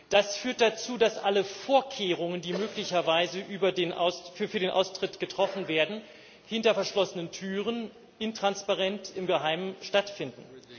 Das führt dazu, dass alle Vorkehrungen, die möglicherweise für den Austritt getroffen werden, hinter verschlossenen Türen intransparent, im Geheimen stattfinden.